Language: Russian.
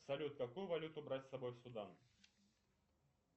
салют какую валюту брать с собой в судан